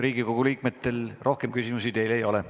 Riigikogu liikmetel rohkem küsimusi teile ei ole.